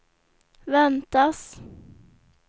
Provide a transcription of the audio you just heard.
väntas